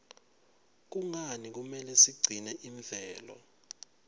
kungani kumele sigcine imvelo